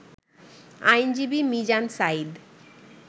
আইনজীবী মিজান সাঈদ